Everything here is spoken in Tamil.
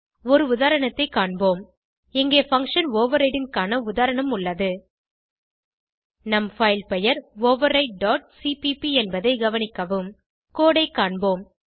ஒரு உதாரணத்தை காண்போம் இங்கே பங்ஷன் ஓவர்ரைடிங் க்கான உதாரணம் உள்ளது நம் பைல் பெயர் overrideசிபிபி என்பதை கவனிக்கவும் கோடு ஐ காண்போம்